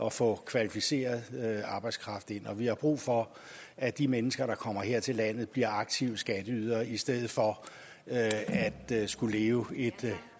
at få kvalificeret arbejdskraft ind og vi har brug for at de mennesker der kommer her til landet bliver aktive skatteydere i stedet for at skulle leve et